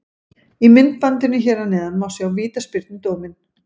Í myndbandinu hér að neðan má sjá vítaspyrnudóminn.